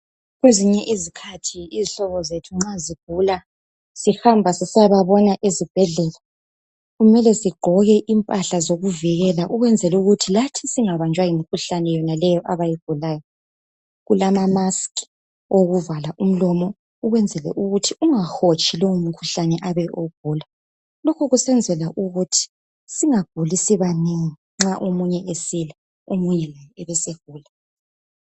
Kwezinye izikhathi izihlobo zethu nxa zigula. Sihamba sisiyababona ezibhedlela, kumele sigqoke impala zokuivikela. Ukwenzela ukuthi lathi singabanjwa yimikhuhlane yonaleyo abayigulayo. Kulama masks okuvala umlomo. Ukwenzela ukuthi ungahotshi lowomkhuhlane abe ewugula. Lokho kusenzela ukuthi singaguli sibanengi. Athi omunye esila, omunye abesegula.